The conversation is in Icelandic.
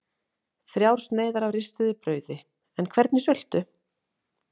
Þrjár sneiðar af ristuðu brauði en hvernig sultu?